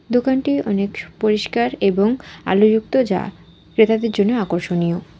দোকানটি অনেক সুপরিষ্কার এবং আলোযুক্ত যা ক্রেতাদের জন্য আকর্ষণীয়।